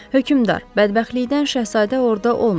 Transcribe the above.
Hökmdar, bədbəxtlikdən Şəhzadə orda olmayıb.